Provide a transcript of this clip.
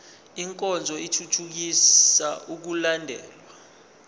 nkonzo ithuthukisa ukulandelwa